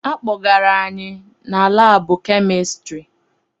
Akpọgara anyị na laabụ kemistiri.